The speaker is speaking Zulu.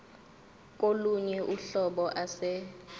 kolunye uhlobo ase